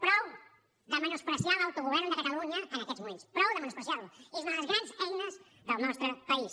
prou de menysprear l’autogovern de catalunya en aquests moments prou de menysprear lo és una de les grans eines del nostre país